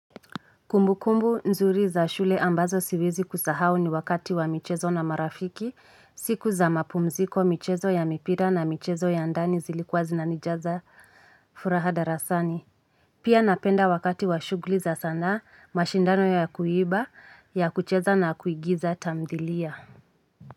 Kumbukumbu nzuri za shule ambazo siwezi kusahau ni wakati wa michezo na marafiki, siku za mapumziko, michezo ya mipira na michezo ya ndani zilikuwa zinanijaza furaha darasani. Pia napenda wakati wa shughuli za sanaa, mashindano ya kuimba, ya kucheza na kuigiza tamthilia.